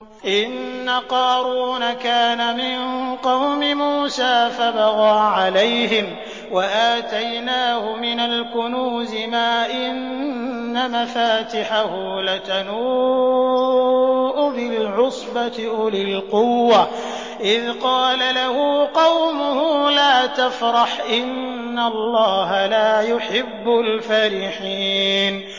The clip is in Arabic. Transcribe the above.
۞ إِنَّ قَارُونَ كَانَ مِن قَوْمِ مُوسَىٰ فَبَغَىٰ عَلَيْهِمْ ۖ وَآتَيْنَاهُ مِنَ الْكُنُوزِ مَا إِنَّ مَفَاتِحَهُ لَتَنُوءُ بِالْعُصْبَةِ أُولِي الْقُوَّةِ إِذْ قَالَ لَهُ قَوْمُهُ لَا تَفْرَحْ ۖ إِنَّ اللَّهَ لَا يُحِبُّ الْفَرِحِينَ